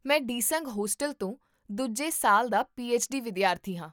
ਮੈਂ ਡਿਸੰਗ ਹੋਸਟਲ ਤੋਂ ਦੂਜੇ ਸਾਲ ਦਾ ਪੀਐਚਡੀ ਵਿਦਿਆਰਥੀ ਹਾਂ